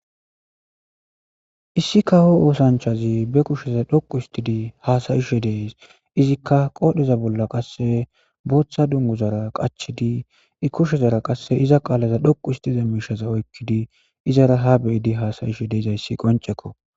Issi kawo oosanchazi ba kusheza dhoqu hisidi hasayishe des izika qodheza bolla qase botha dunguzara qachidi be kushezara qase qalaza dhoqu histiza mishaza dhoqu histidi izara ha beyidi hasayishe dizaysi qonceko